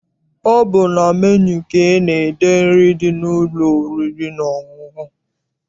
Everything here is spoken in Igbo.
Ọ bụ na menu ka ana-ede nri dị n'ụlọ oriri na ọṅụṅụ.